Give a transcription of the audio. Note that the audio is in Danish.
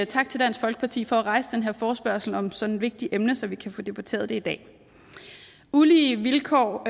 tak til dansk folkeparti for at rejse den her forespørgsel om sådan et vigtigt emne så vi kan få debatteret det i dag ulige vilkår